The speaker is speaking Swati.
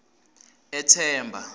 ethemba